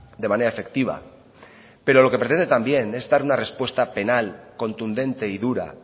de manera efectiva pero lo que pretende también es dar una respuesta penal contundente y dura